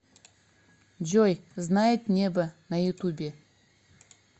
джой знает небо на ютубе